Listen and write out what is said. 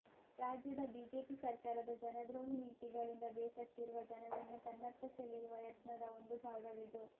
ರಾಜ್ಯದ ಬಿಜೆಪಿ ಸರ್ಕಾರದ ಜನದ್ರೋಹಿ ನೀತಿಗಳಿಂದ ಬೇಸತ್ತಿರುವ ಜನರನ್ನು ತನ್ನತ್ತ ಸೆಳೆಯುವ ಯತ್ನದ ಒಂದು ಭಾಗವಿದು